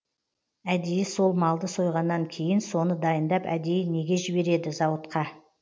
әдейі сол малды сойғаннан кейін соны дайындап әдейі неге жібереді зауытқа